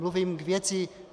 Mluvím k věci.